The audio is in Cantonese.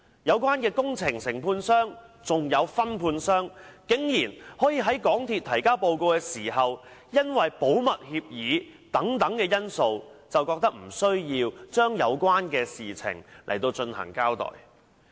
有關工程的承建商和分判商，竟然在港鐵公司提交報告時，因為保密協議等因素而認為無須就有關事宜作出交代。